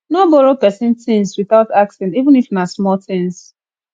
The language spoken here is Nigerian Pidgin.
no borrow pesin tins witout asking even if na small tins